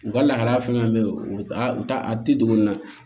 U ka lahala fɛn fɛn bɛ yen u t'a a tɛ don nin na